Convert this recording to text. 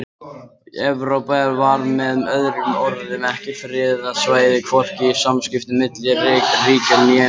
Evrópa var með öðrum orðum ekki friðað svæði hvorki í samskiptum milli ríkja né nágranna.